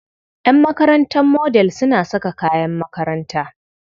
Ƴan makarantar Model suna saka kayan makaranta.